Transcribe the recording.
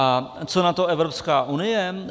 A co na to Evropská unie?